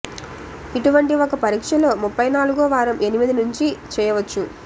ఇటువంటి ఒక పరీక్షలో ముప్పై నాలుగో వారం ఎనిమిది నుంచి చేయవచ్చు